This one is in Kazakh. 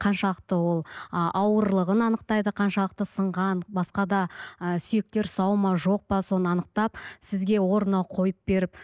қаншалықты ол ы ауырлығын анықтайды қаншалықты сынған басқа да ы сүйектер сау ма жоқ па соны анықтап сізге орнына қойып беріп